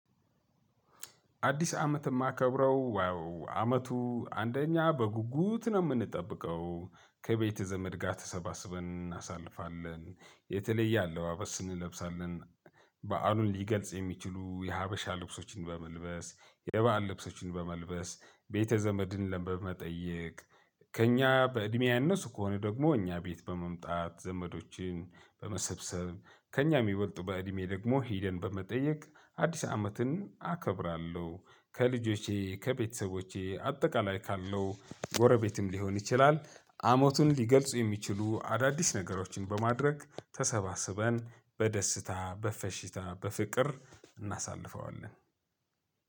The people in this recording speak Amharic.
አዲስ አመት የማከብረው ያው አመቱ አንደኛ በጉጉት ነው የምንጠብቀው ከቤተ ዘመድ ጋር ተሰባስበን እናሳልፋለን የተለየ አለባበስ እንለብሳለን። በዓሉን ሊገልጽ የሚችሉ የሀበሻ ልብሶችን በመልበስ የበአል ልብሶችን በመልበስ ቤተ ዘመድን በመጠየቅ ከእኛ በእድሜ ያነሱ ከሆነ ደግሞ እኛ ቤት በመምጣት ዘመዶችን በመሰብሰብ ከእኛ የሚበልጡ በእድሜ ደግሞ ሂደን በመጠየቅ አዲስ አመትን አከብራለሁ። ከልጆቼ ከቤተሰቦቼ አጠቃላይ ካለው ጎረቤትም ሊሆን ይችላል። አመቱን ሊገልጹ የሚችሉ አዳዲስ ነገሮችን በማድረግ ተሰባስበን በደስታ በፈሺታ በፍቅር እናሳልፈዋለን።